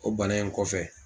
O bana in kɔfɛ